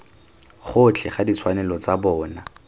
gotlhe ga ditshwanelo tsa bona